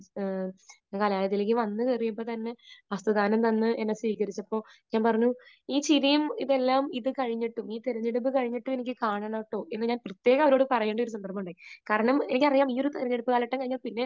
ഞാൻ കലാലയത്തിലേക്ക് വന്നു കയറിയപ്പോൾ തന്നെ ഹസ്തദാനം തന്നെ എന്നെ സ്വീകരിച്ചപ്പോൾ ഞാൻ പറഞ്ഞു ഈ ചിരിയും ഇതെല്ലാം ഇത് കഴിഞ്ഞിട്ടും ഈ തെരഞ്ഞെടുപ്പ് കഴിഞ്ഞിട്ടും എനിക്ക് കാണണം കേട്ടോ എന്ന് ഞാൻ പ്രത്യേകം അവരോട് പറയേണ്ട ഒരു സന്ദർഭം ഉണ്ടായി. കാരണം എനിക്കറിയാം ഈ ഒരു തിരഞ്ഞെടുപ്പ് കാലഘട്ടം കഴിഞ്ഞാൽ പിന്നെ